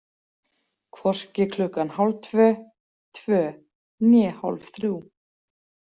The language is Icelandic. Hvorki klukkan hálftvö, tvö né hálfþrjú.